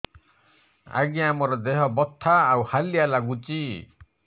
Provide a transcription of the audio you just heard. ଆଜ୍ଞା ମୋର ଦେହ ବଥା ଆଉ ହାଲିଆ ଲାଗୁଚି